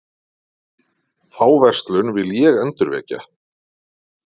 Þá verslun vil ég endurvekja.